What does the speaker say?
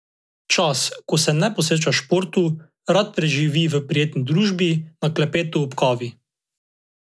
Čas, ko se ne posveča športu, rad preživi v prijetni družbi, na klepetu ob kavi.